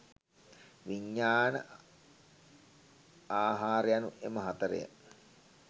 විඤ්ඤාණ ආහාර යනු එම හතර ය.